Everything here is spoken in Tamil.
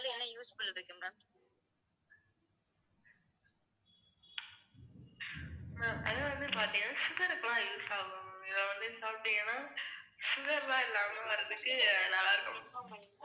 ma'am அது வந்து பாத்தீங்கன்னா sugar கு எல்லாம் use ஆகும் இதை வந்து சாப்பிட்டீங்கனா sugar லாம் இல்லாம வரதுக்கு நல்லாருக்கும்.